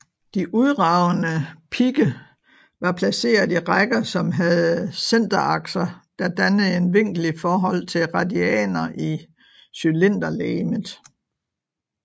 De udragende pigge var placeret i rækker som havde centerakser der dannede en vinkel i forhold til radianer i cylinderlegemet